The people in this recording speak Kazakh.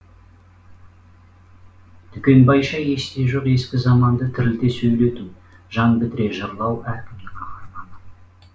дүкенбайша есте жоқ ескі заманды тірілте сөйлету жан бітіре жырлау әркімнің ақ арманы